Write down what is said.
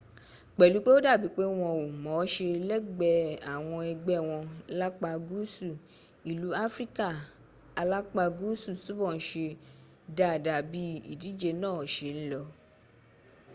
pẹ̀lú pé ó dàbí pé wọn ò mọ̀ọ́ṣé lẹ́gbẹ́ àwọn ẹgbẹ́ wọn lápá guusu ilu afrika alapa guusu túbọ̀ n ṣe dada bí ídíje náà ṣe n lọ